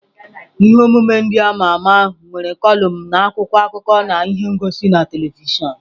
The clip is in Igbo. Ihe omume ndị ama ama es nwere kọlụm na akwụkwọ akụkọ na ihe ngosi na telivishọn.